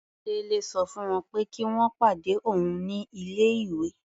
Délé sọ fún wọ́n pé kí wọ́n pàdé òun ní ilé-ìwé.